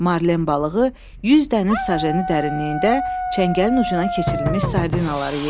Marlen balığı 100 dəniz sajeni dərinliyində çəngəlin ucuna keçirilmiş sardinaları yeyirdi.